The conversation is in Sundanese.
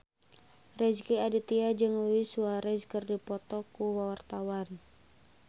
Rezky Aditya jeung Luis Suarez keur dipoto ku wartawan